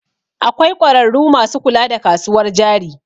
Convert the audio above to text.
Akwai ƙwararru masu kula da kasuwar jari